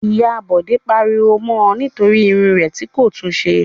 Ìyá Bọ̀dé pariwo mọ nítorí irun rẹ̀ tí kò tún ṣe.